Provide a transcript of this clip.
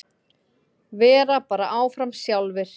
Vera bara áfram sjálfir.